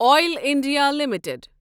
oil India limited